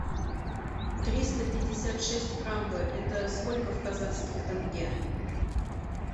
триста пятьдесят шесть франков это сколько в казахских тенге